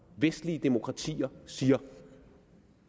vestlige demokratier siger